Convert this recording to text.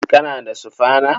Kana da sufana?